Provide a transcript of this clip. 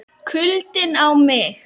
KULDINN á mig.